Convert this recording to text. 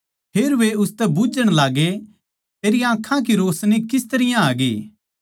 फेर वे उसतै बुझ्झण लाग्गे तेरी आँखां की रोशनी किस तरियां आगी